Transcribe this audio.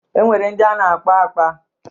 E nwere ndị a na-akpọ akpa.